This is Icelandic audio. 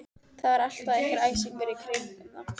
Það var alltaf einhver æsingur í kringum þá.